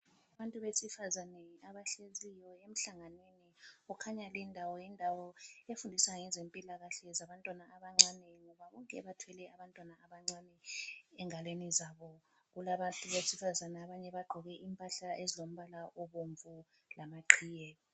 Abantu besifazana abahleziyo emhlanganweni kukhanya lindawo yindawo efundisa ngezempilakahle zabantwana abancane ngoba bonke bathwele abantwana abancane engalweni zabo. Kulabantu besifazana abanye abagqoke impahla ezombala obomvu lamaqhiye.